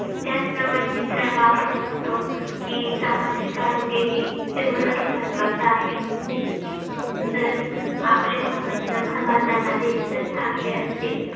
त्याचप्रमाणे मित्रांनो आपण बघतो की सामाजिक आरोग्य ही तेवढंच महत्त्वा चं आहे. जर आपले संबंध समाजामध्ये जर चांगले असतील